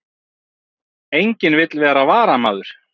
Enginn vill vera varamaður